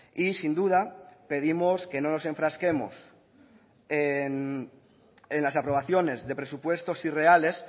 y sin duda pedimos que no nos enfrasquemos en las aprobaciones de presupuestos irreales